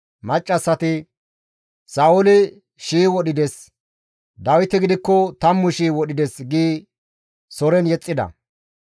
Maccassati, «Sa7ooli shii wodhides! Dawiti gidikko tammu shii wodhides» giidi soren yexxida.